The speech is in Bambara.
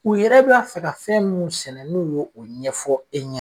U yɛrɛ b'a fɛ ka fɛn minnu sɛnɛ n'u ye o ɲɛfɔ e ɲɛna